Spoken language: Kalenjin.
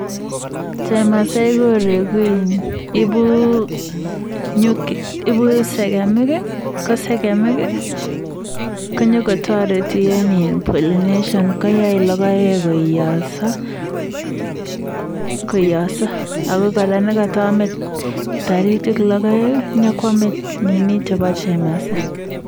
Chemasi koreku, ibu segemik ko segemik konyokotareti eng polination koyaei logoek koiyosa. Ako kira nekata amei taritik logoek, yokoamei nini nebo chemasai.